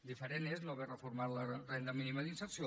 diferent és no haver reformat la renda mínima d’inserció